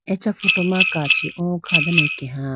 acha photo ma kachi o kha dane akeya.